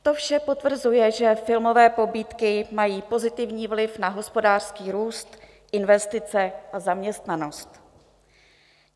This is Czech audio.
To vše potvrzuje, že filmové pobídky mají pozitivní vliv na hospodářský růst, investice a zaměstnanost.